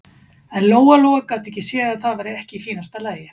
En Lóa-Lóa gat ekki séð að það væri ekki í fínasta lagi.